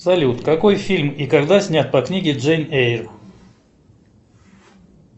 салют какой фильм и когда снят по книге джейн эйр